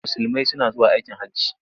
Musulmai suna zuwa aikin hajji.